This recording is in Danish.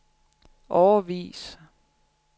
årevis